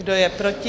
Kdo je proti?